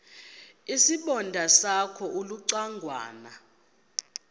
isibonda sakho ulucangwana